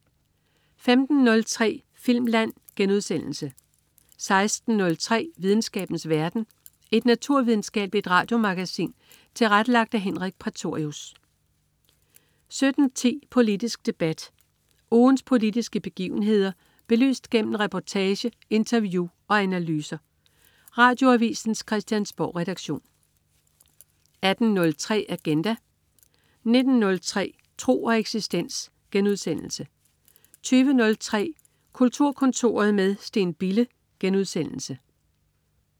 15.03 Filmland* 16.03 Videnskabens verden. Et naturvidenskabeligt radiomagasin tilrettelagt af Henrik Prætorius 17.10 Politisk debat. Ugens politiske begivenheder belyst gennem reportage, interview og analyser. Radioavisens Christiansborgredaktion 18.03 Agenda 19.03 Tro og eksistens* 20.03 Kulturkontoret med Steen Bille*